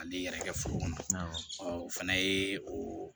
Ale yɛrɛ kɛ foro kɔnɔ o fana ye o